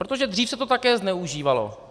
Protože dřív se to také zneužívalo.